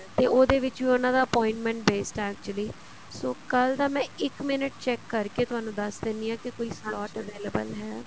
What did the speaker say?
ਤੇ ਉਹਦੇ ਵਿੱਚ ਉਹਨਾ ਦਾ appointment based ਹੈ actually so ਕੱਲ ਦਾ ਮੈਂ ਇੱਕ minute check ਕਰਕੇ ਤੁਹਾਨੂੰ ਦੱਸ ਦਿੰਨੀ ਹਾਂ ਕੀ ਕੋਈ slot available ਹੈ